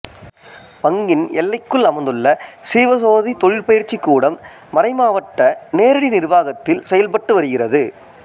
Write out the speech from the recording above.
பங்கின் எல்லைக்குள் அமைந்துள்ள சீவ சோதி தொழிற்பயிற்சி கூடம் மறைமாவட்ட நேரடி நிர்வாகத்தில் செயல்பட்டுவருகிறது